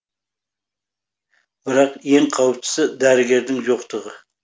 бірақ ең қауіптісі дәрігердің жоқтығы